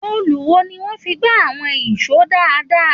Òòlù ni wọ́n fi ń gba àwọn ìṣó dáadáa